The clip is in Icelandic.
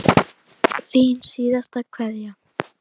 Þín síðasta kveðja.